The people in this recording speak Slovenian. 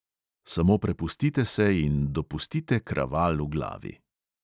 Samo prepustite se in dopustite kraval v glavi.